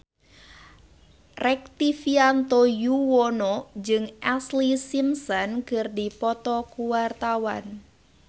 Rektivianto Yoewono jeung Ashlee Simpson keur dipoto ku wartawan